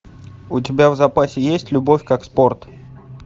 у тебя в запасе есть любовь как спорт